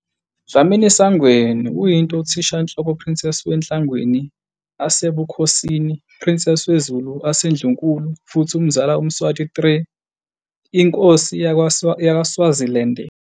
Dlamini-Sangweni kuyinto Uthishanhloko Princess we Nhlangwini asebukhosini, Princess we Zulu aseNdlunkulu futhi umzala uMswati III, inkosi yakwa-Swaziland.